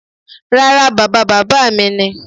Rárá, bàba bàbá mi ni.